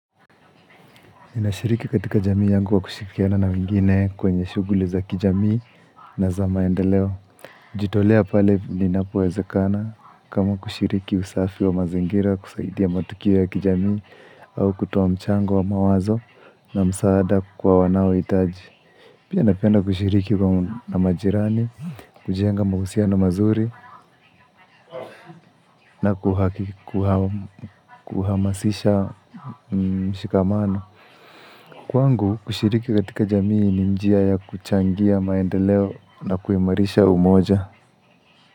Nashiriki katika jamii yangu kwa kushirikiana na wengine kwenye shuguli za kijamii na za maendeleo. Jitolea pale inapowezekana kama kushiriki usafi wa mazingira kusaidia matukio ya kijamii au kutoa mchango wa mawazo na msaada kwa wanaohitaji. Pia napenda kushiriki na majirani, kujenga mahusiano mazuri na kuhamasisha mshikamano. Kwangu kushiriki katika jamii ni njia ya kuchangia maendeleo na kuimarisha umoja.